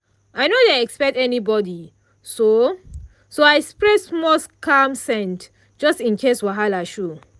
i no dey expect anybody so so i spray small calm scent just in case wahala show.